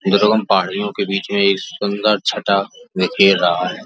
पहाड़ियों के बीच में छटा में खेल रहा है।